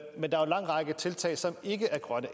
lang række tiltag som ikke er grønne